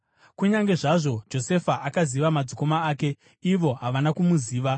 Kunyange zvazvo Josefa akaziva madzikoma ake, ivo havana kumuziva.